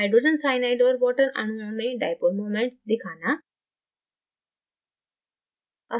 hydrogen cyanide और water अणुओं में dipole moments दिखाना